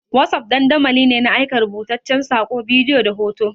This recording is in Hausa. Wossof dandamali ne na aika rubutaccen saƙo, bidiyo da hoto.